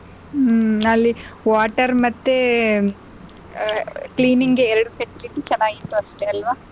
ಹ್ಮ್ ಅಲ್ಲಿ water ಮತ್ತೆ ಅಹ್ cleaning ಗೆ ಎರಡು facility ಚೆನ್ನಾಗಿತ್ತು ಅಷ್ಟೆ ಅಲ್ವಾ.